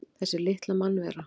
Þessi litla mannvera!